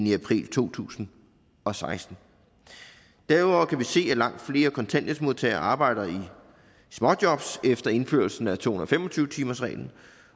i april to tusind og seksten derudover kan vi se at langt flere kontanthjælpsmodtagere arbejder i småjobs efter indførelsen af to hundrede og fem og tyve timersreglen